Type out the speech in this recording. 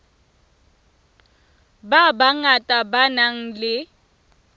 ba bangata ba nang le